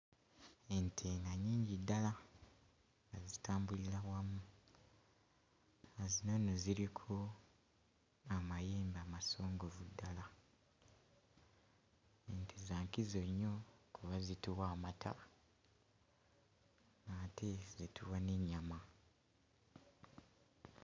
Ente nga nnyingi ddala zitambulira wamu nga zino eno ziriko amayembe amasongovu ddala, ente za nkizo nnyo kuba zituwa amata ate zituwa n'ennyama.